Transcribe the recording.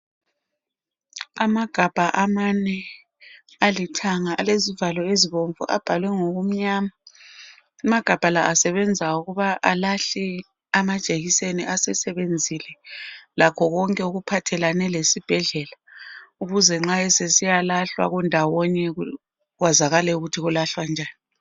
Amagabha amane , alithanga. Alezivalo ezibomvu. Abhalwe ngokumnyama. Amagabha lawa asebenza ukuba alahle amajekiseni asesebenzile. Lakho konke okuphathelene lesibhedlela. Ukwenzela ukuthi nxa sekulahlwa kwaziwe ukuthi kulahlwe njani.